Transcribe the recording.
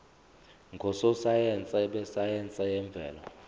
ngososayense besayense yemvelo